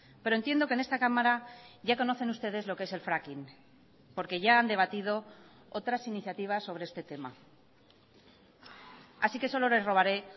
pero entiendo que en esta cámara ya conocen ustedes lo que es el fracking porque ya han debatido otras iniciativas sobre este tema así que solo les robaré